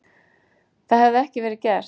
Það hefði ekki verið gert